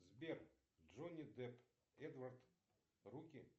сбер джонни депп эдвард руки